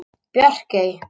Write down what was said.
Bjarkey